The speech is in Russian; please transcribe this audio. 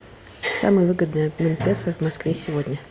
самый выгодный обмен песо в москве сегодня